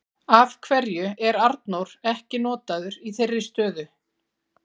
Af hverju er Arnór ekki notaður í þeirri stöðu?